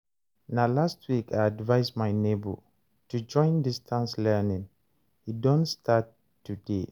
na last week I advice my nebor to join distance learning, he don start today